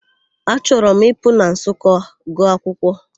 Achọrọ m Ịpụ na Nsụka gụọ akwụkwọ.